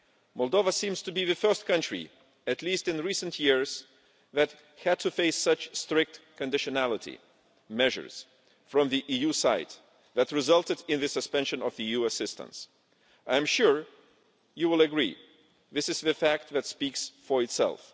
Moldova seems to be the first country, at least in recent years, that has had to face such strict conditionality measures from the EU side, resulting in the suspension of EU assistance. I am sure you will agree that this is a fact that speaks for itself.